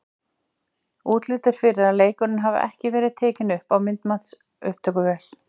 Útlit er fyrir að leikurinn hafi ekki verið tekinn upp á myndbandsupptökuvél.